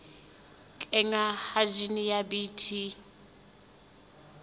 kenngwa ha jine ya bt